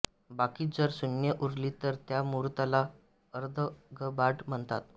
बाकी जर शून्य उरली तर त्या मुहूर्ताला अर्धघबाड म्हणतात